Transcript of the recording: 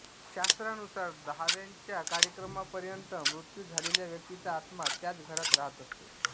शास्त्रानुसार दहाव्याच्या कार्यक्रमापर्यंत मृत्यू झालेल्या व्यक्तीचा आत्मा त्याच घरात राहत असतो